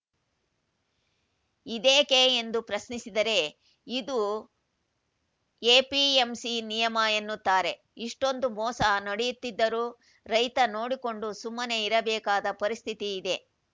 ಇದೇಕೆ ಎಂದು ಪ್ರಶ್ನಿಸಿದರೆ ಇದು ಎಪಿಎಂಸಿ ನಿಯಮ ಎನ್ನುತ್ತಾರೆ ಇಷ್ಟೊಂದು ಮೋಸ ನಡೆಯುತ್ತಿದ್ದರೂ ರೈತ ನೋಡಿಕೊಂಡು ಸುಮ್ಮನೆ ಇರಬೇಕಾದ ಪರಿಸ್ಥಿತಿ ಇದೆ